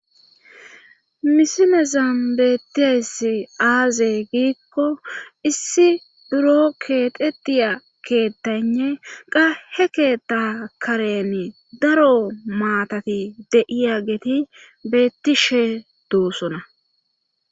misilezan beettiesi aaze giikko issi buro keexetiya keettane qa he keeta karen daro maatati de'iyageeti beettishe doosona